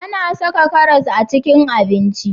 A na saka karas a cikin abinci